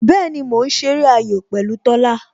Bẹẹni, mo ń ṣeré ayò pẹ̀lú Tola